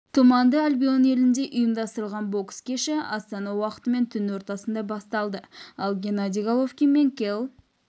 тұманды альбион елінде ұйымдастырылған бокс кеші астана уақытымен түн ортасында басталды ал геннадий головкин мен келл